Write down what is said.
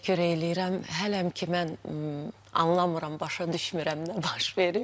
Hələm ki mən anlamıram, başa düşmürəm nə baş verib.